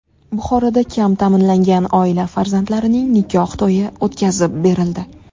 Buxoroda kam ta’minlangan oila farzandlarining nikoh to‘yi o‘tkazib berildi.